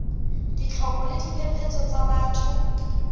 ditlhoko le diphephetso tsa batho